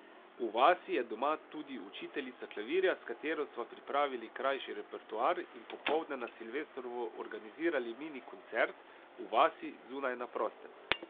V vasi je doma tudi učiteljica klavirja, s katero sva pripravili krajši repertoar in popoldne na silvestrovo organizirali mini koncert v vasi, zunaj, na prostem.